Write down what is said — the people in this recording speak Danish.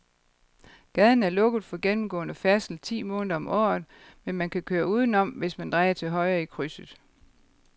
Gaden er lukket for gennemgående færdsel ti måneder om året, men man kan køre udenom, hvis man drejer til højre i krydset.